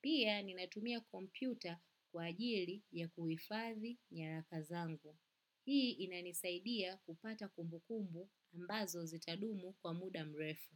Pia ninatumia kompyuta kwa ajili ya kuhifadhi nyaraka zangu. Hii inanisaidia kupata kumbukumbu ambazo zitadumu kwa muda mrefu.